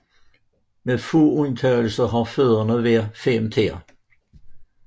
Med få undtagelser har fødderne hver fem tæer